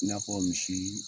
I n'a fɔ misii